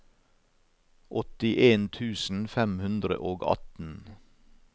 åttien tusen fem hundre og atten